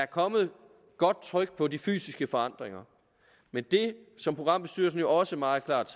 kommet tryk på de fysiske forandringer men det som programbestyrelsen jo også meget klart